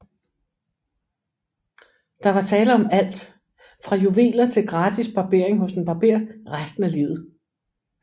Der var tale om alt fra juveler til gratis barberinger hos en barber resten af livet